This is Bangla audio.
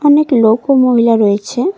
অনেক লোক ও মহিলা রয়েছেন।